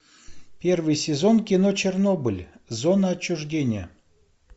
первый сезон кино чернобыль зона отчуждения